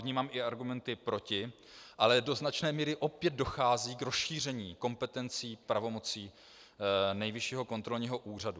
Vnímám i argumenty proti, ale do značné míry opět dochází k rozšíření kompetencí, pravomocí Nejvyššího kontrolního úřadu.